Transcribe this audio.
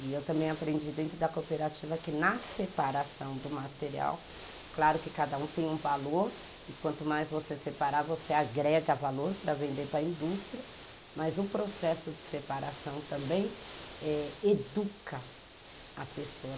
E eu também aprendi dentro da cooperativa que na separação do material, claro que cada um tem um valor e quanto mais você separar, você agrega valor para vender para a indústria, mas o processo de separação também eh educa a pessoa.